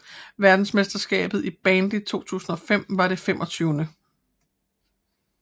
Verdensmesterskabet i bandy 2005 var det 25